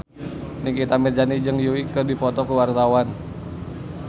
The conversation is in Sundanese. Nikita Mirzani jeung Yui keur dipoto ku wartawan